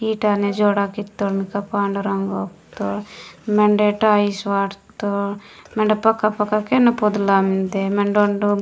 ईटा ने जोड़ा कीतोर पांडु रंग उत्तोर मेंडे टाइल्स वाटत्तोर मेंडे पका - पका केन पोदला मेन्दे मेंडे ओंडु।